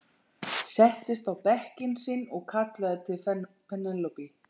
Settist á bekkinn sinn og kallaði til Penélope.